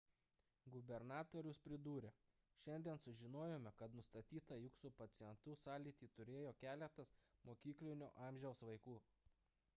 gubernatorius pridūrė šiandien sužinojome kad nustatyta jog su pacientu sąlytį turėjo keletas mokyklinio amžiaus vaikų